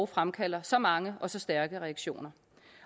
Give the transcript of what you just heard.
fremkalde så mange og så stærke reaktioner